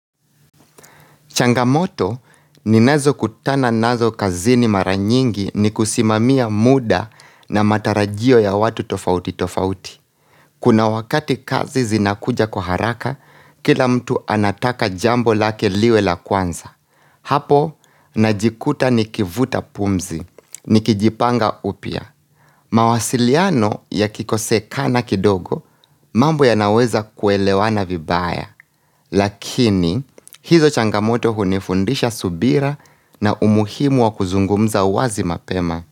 Changamoto ninazo kutana nazo kazini mara nyingi ni kusimamia muda na matarajio ya watu tofauti tofauti. Kuna wakati kazi zinakuja kwa haraka, kila mtu anataka jambo lake liwe la kwanza. Hapo, najikuta ni kivuta pumzi, nikijipanga upya. Mawasiliano yakikosekana kidogo, mambo yanaweza kuelewana vibaya. Lakini, hizo changamoto hunifundisha subira na umuhimu wa kuzungumza wazi mapema.